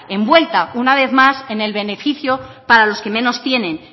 envuelta una vez más en el beneficio para los que menos tienen